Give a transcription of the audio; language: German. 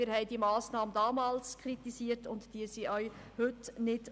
Wir haben diese Massnahme damals kritisiert und unterstützen sie auch heute nicht.